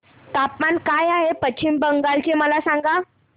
तापमान काय आहे पश्चिम बंगाल चे मला सांगा